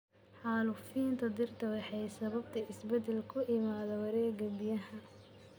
Xaalufinta dhirta waxay sababtaa isbeddel ku yimaada wareegga biyaha.